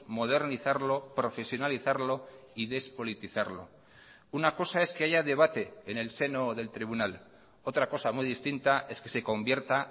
modernizarlo profesionalizarlo y despolitizarlo una cosa es que haya debate en el seno del tribunal otra cosa muy distinta es que se convierta